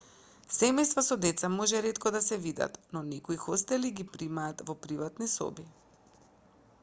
семејства со деца може ретко да се видат но некои хостели ги примаат во приватни соби